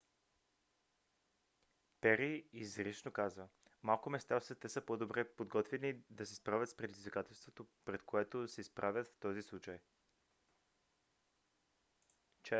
пери изрично каза: малко места в света са по-добре подготвени да се справят с предизвикателството пред което се изправят в този случай.